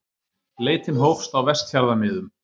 Leitin hófst á Vestfjarðamiðum